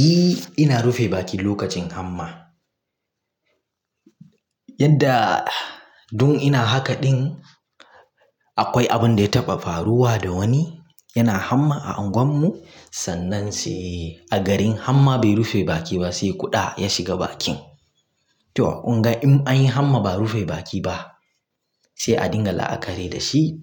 Eh ina rufe baki lokacin hamma. Yanda dun ina haka ɗin, akwai abun da ya taɓa faruwa da wani yana hamma a anguwanmu sannan sai a garin hamma be rufe baki ba, sai kuɗa ya shiga bakin. To kun ga in an yi hamma, ba'a rufe baki ba sai a dinga la'akari da shi